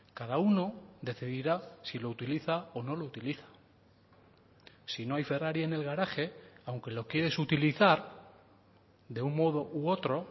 cada uno decidirá si lo utiliza o no lo utiliza si no hay ferrari en el garaje aunque lo quieres utilizar de un modo u otro